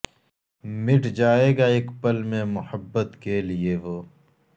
مٹ جائے گا اک پل میں محبت کے لئے وہ